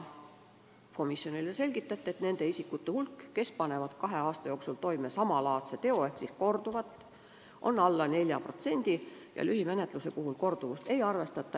Komisjonile selgitati, et nende isikute hulk, kes panevad kahe aasta jooksul toime samalaadse teo ehk siis korduva rikkumise, on alla 4% ja lühimenetluse puhul korduvust ei arvestata.